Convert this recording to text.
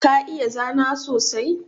Ka iya zana sosai?